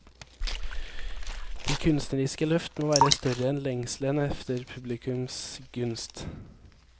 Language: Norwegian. De kunstneriske løft må være større enn lengselen efter publikums gunst.